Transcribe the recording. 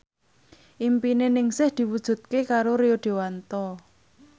impine Ningsih diwujudke karo Rio Dewanto